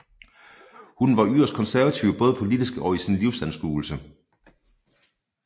Hun var yderst konservativ både politisk og i sin livsanskuelse